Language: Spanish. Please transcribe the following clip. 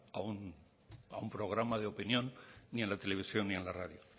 a un programa de opinión ni en la televisión ni en la radio